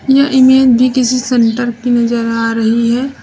यह इमेज भी किसी सेंटर की नजर आ रही है।